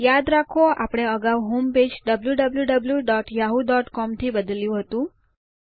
યાદ રાખો આપણે અગાઉ હોમપેજ wwwyahoocom થી બદલ્યું હતું